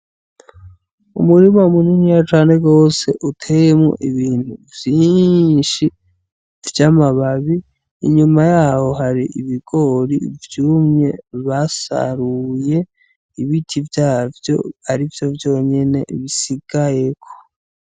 Umurima muniniya cane gose uteyemwo ibintu vyishi vy'amababi inyuma yaho hari ibigori vyumye basaruye ibiti vyavyo arivyo vyonyene bisigayeko.